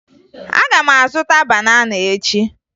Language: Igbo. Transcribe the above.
Aga m azụta banana echi